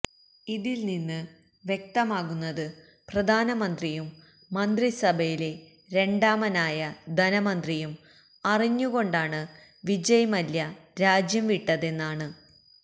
ഇതിൽ നിന്ന് വ്യക്തമാകുന്നത് പ്രധാനമന്ത്രിയും മന്ത്രിസഭയിലെ രണ്ടാമനായ ധനമന്ത്രിയും അറിഞ്ഞുകൊണ്ടാണ് വിജയ് മല്യ രാജ്യം വിട്ടതെന്നാണ്